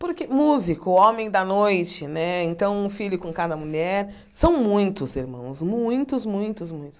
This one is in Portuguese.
Porque músico, homem da noite, né, então um filho com cada mulher, são muitos irmãos, muitos, muitos, muitos.